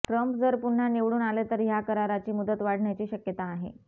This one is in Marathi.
ट्रंप जर पुन्हा निवडून आले तर ह्या कराराची मुदत वाढण्याची शक्यता नाही